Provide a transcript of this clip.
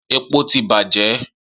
Epo ti bajẹ.